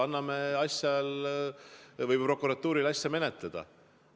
Anname prokuratuurile aega asja menetleda!